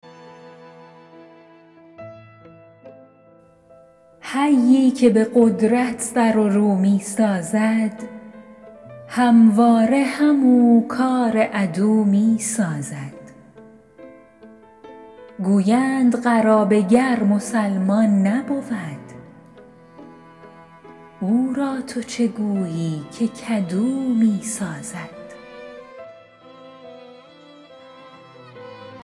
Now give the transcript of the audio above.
حیی که به قدرت سر و رو می سازد همواره همو کار عدو می سازد گویند قرابه گر مسلمان نبود او را تو چه گویی که کدو می سازد